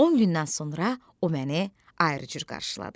On gündən sonra o məni ayrı cür qarşıladı.